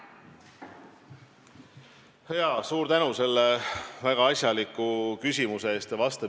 Jaa, suur tänu selle väga asjaliku küsimuse eest!